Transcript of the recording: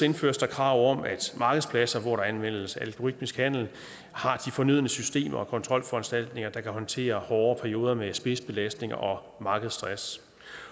indføres der krav om at markedspladser hvor der anvendes algoritmisk handel har de fornødne systemer og kontrolforanstaltninger der kan håndtere hårde perioder med spidsbelastning og markedsstress